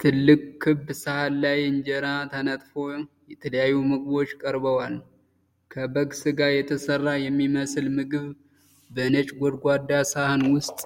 ትልቅ ክብ ሳህን ላይ፣ እንጀራ ተነጥፎ የተለያዩ ምግቦች ቀርበዋል። ከበግ ስጋ የተሰራ የሚመስል ምግብ በነጭ ጎድጓዳ ሳህን ውስጥ